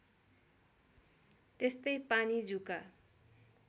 त्यस्तै पानी जुका